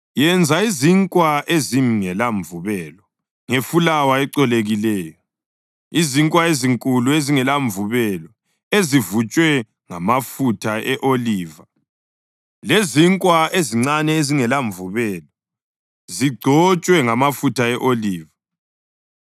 Yenza izinkwa ezingelamvubelo ngefulawa ecolekileyo, izinkwa ezinkulu ezingelamvubelo, ezivutshwe ngamafutha e-oliva lezinkwa ezincane ezingelamvubelo, zigcotshwe ngamafutha e-oliva.